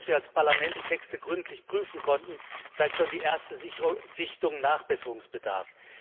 Auch ohne dass wir als Parlament die Texte gründlich prüfen konnten, zeigt schon die erste Sichtung Nachbesserungsbedarf.